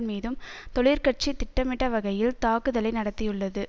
மீதும் தொழிற்கட்சி திட்டமிட்ட வகையில் தாக்குதலை நடத்தியுள்ளது